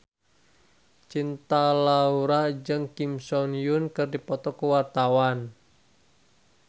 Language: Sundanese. Cinta Laura jeung Kim So Hyun keur dipoto ku wartawan